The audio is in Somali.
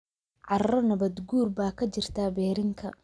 carro nabaad guur baa ka jirta berrinka